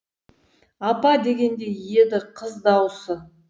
апа дегендей еді қыз дауысы